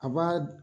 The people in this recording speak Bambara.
A b'a